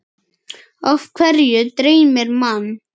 Af hverju dreymir mann?